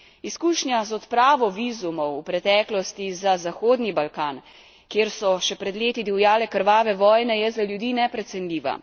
Izkušnja z odpravo vizumov v preteklosti za Zahodni Balkan, kjer so še pred leti divjale krvave vojne, je za ljudi neprecenljiva.